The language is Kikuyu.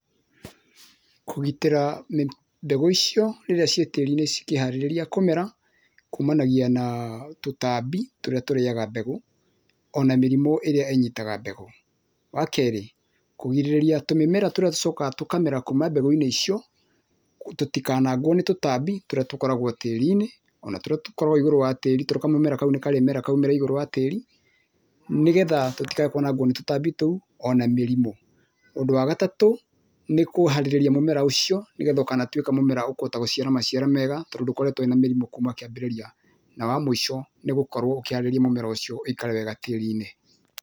Kũgitĩra mbegũ icio rĩrĩa ciĩ tĩri-inĩ cikĩharĩrĩria kũmera, kumanagia na tũtambi tũrĩa tũrĩaga mbegũ, ona mĩrimũ ĩrĩa ĩnyitaga mbegũ. Wa kerĩ, kũgirĩrĩria tũmĩmera tũrĩa tũcokaga tũkamera kuma mbegũ-inĩ icio, tũtikanangwo nĩ tũtambi tũrĩa tũkoragwo tĩri-inĩ ona tũrĩa tũkoragwo igũrũ wa tĩri, tondũ kamũmera kau nĩ karĩmera kaume igũrũ wa tĩri, nĩgetha tũtikae kwanangwo nĩ tũtambi tou, ona mĩrimũ. Ũndũ wa gatatũ, nĩ kũharĩrĩria mũmera ũcio, nĩgetha ũgatuĩka mũmera ũkũhota gũciara maciaro mega, tondũ ndũkoretwo na mĩrimũ kuma kĩambĩrĩria. Na wa mũico, nĩ gũkorwo ũkĩharĩrĩria mũmera ũcio ũikare wega tĩri-inĩ.